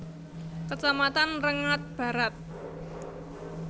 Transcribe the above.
Kecamatan Rengat Barat